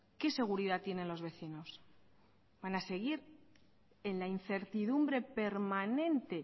qué seguridad tienen los vecinos van a seguir en la incertidumbre permanente